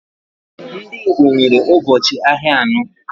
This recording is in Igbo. Ndị Igbo nwere ubochi ahịa anọ.